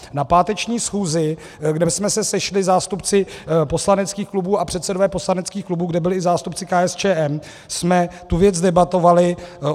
Na páteční schůzi, kde jsme se sešli zástupci poslaneckých klubů a předsedové poslaneckých klubů, kde byli i zástupci KSČM, jsme tu věc debatovali.